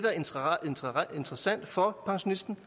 interessant for pensionisten